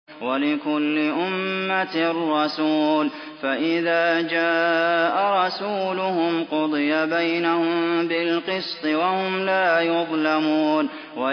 وَلِكُلِّ أُمَّةٍ رَّسُولٌ ۖ فَإِذَا جَاءَ رَسُولُهُمْ قُضِيَ بَيْنَهُم بِالْقِسْطِ وَهُمْ لَا يُظْلَمُونَ